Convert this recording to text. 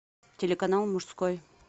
телеканал мужской